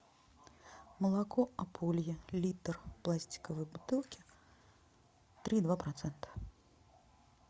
молоко ополье литр в пластиковой бутылке три и два процента